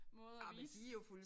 Måde at vise